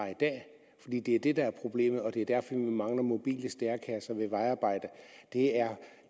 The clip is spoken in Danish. i det er det der er problemet og det er derfor vi mangler mobile stærekasser ved vejarbejde der